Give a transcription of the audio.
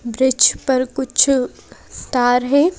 Bridge पर कुछ तार है।